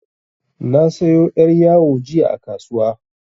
Na sayo yar' yawo jiya a kasuwa.